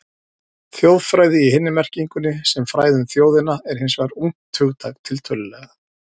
Þjóðfræði í hinni merkingunni, sem fræði um þjóðina, er hins vegar ungt hugtak, tiltölulega.